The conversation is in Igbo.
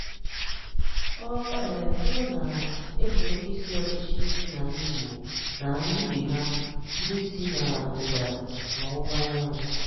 Ọ̀ um bụrụ́ na e gbụrụ̀ ndị̀ ísì ọ̀chịchì si n’alá Igbo na ìbè hà ndị̀ si na ndị̀dà na ọ̀wụ̀wà ànyánwụ̀